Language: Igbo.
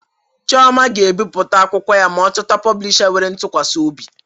Chioma ga-ebipụta akwụkwọ ya ma ọ chọta poblisha nwere ntukwasi obi